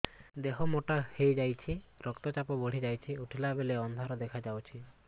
ଦେହ ମୋଟା ହେଇଯାଉଛି ରକ୍ତ ଚାପ ବଢ଼ି ଯାଉଛି ଉଠିଲା ବେଳକୁ ଅନ୍ଧାର ଦେଖା ଯାଉଛି